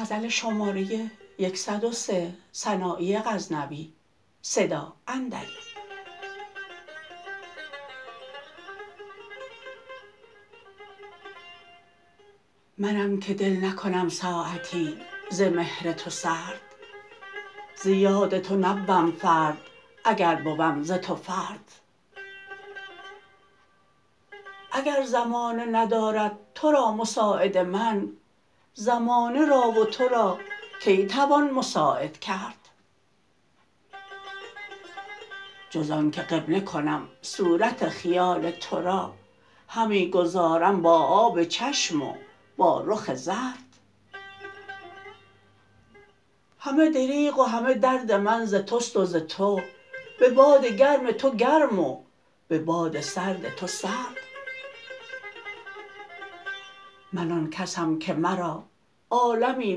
منم که دل نکنم ساعتی ز مهر تو سرد ز یاد تو نبوم فرد اگر بوم ز تو فرد اگر زمانه ندارد ترا مساعد من زمانه را و تو را کی توان مساعد کرد جز آنکه قبله کنم صورت خیال ترا همی گذارم با آب چشم و با رخ زرد همه دریغ و همه درد من ز تست و ز تو به باد تو گرم و به باد سرد تو سرد من آن کسم که مرا عالمی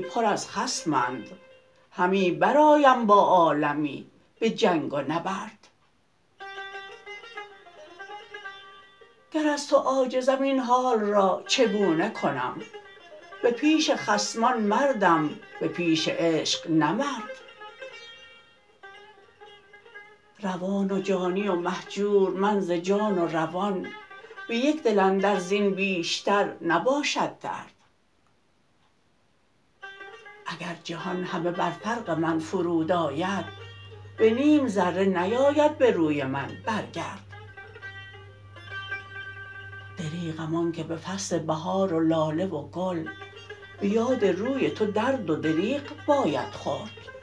پر از خصمند همی برآیم با عالمی به جنگ و نبرد گر از تو عاجزم این حال را چگونه کنم به پیش خصمان مردم به پیش عشق نه مرد روان و جانی و مهجور من ز جان و روان به یک دل اندر زین بیشتر نباشد درد اگر جهان همه بر فرق من فرود آید به نیم ذره نیاید به روی من برگرد دریغم آنکه به فصل بهار و لاله و گل به یاد روی تو درد و دریغ باید خورد